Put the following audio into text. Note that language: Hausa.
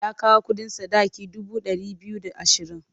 Ya kawo kuɗin sadaki dubu ɗari biyu da ashirin.